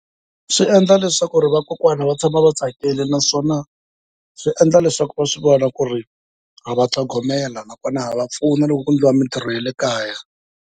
Swi endla leswaku vakokwana va tshama va tsakile, naswona swi endla leswaku va swi vona ku ri ha va tlhogomela, nakona ha va pfuna loko ku endliwa mitirho ya le kaya.